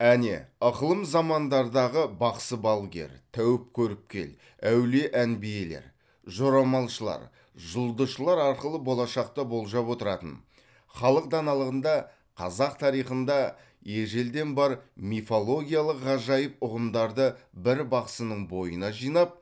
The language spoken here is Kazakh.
әне ықылым замандардағы бақсы балгер тәуіп көріпкел әулие әмбиелер жорамалшылар жұлдызшылар арқылы болашақты болжап отыратын халық даналығында қазақ тарихында ежелден бар мифологиялық ғажайып ұғымдарды бір бақсының бойына жинап